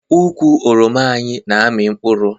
Ukwu oroma anyị na-amị mkpụrụ